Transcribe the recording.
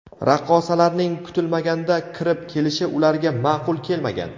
Raqqosalarning kutilmaganda kirib kelishi ularga ma’qul kelmagan.